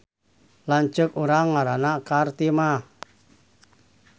Lanceuk urang ngaranna Kartimah